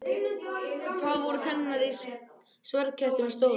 Hvað voru tennurnar í sverðkettinum stórar?